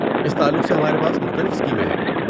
اس تعلق سے ہمارے پاس مختلف اسکیمیں ہیں۔